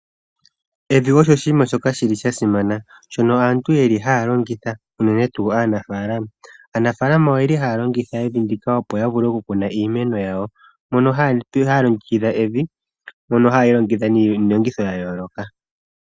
Evi osho oshiima shoka shili sha simana, mono aantu yeli haya longitha, unene tuu aanafalama. Aanafalama oyeli haya longitha evi ndika opo ya vule okukuna iimeno yawo, mono haya longekidha evi, mono hayeli longekidha niilongitho yayoloka.